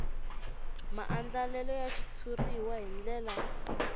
maandlalelo ya xitshuriwa hi ndlela